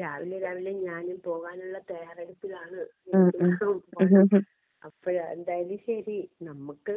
രാവിലെ രാവിലെ ഞാനും പോവാനുള്ള തയാറെടുപ്പിലാണ്. അപ്പഴാ എന്തായാലും ശരി നമ്മക്ക്